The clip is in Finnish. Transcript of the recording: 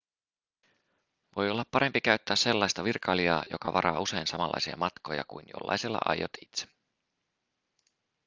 voi olla parempi käyttää sellaista virkailijaa joka varaa usein samanlaisia matkoja kuin jollaiselle aiot itse